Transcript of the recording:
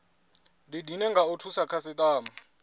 didine nga u thusa khasitama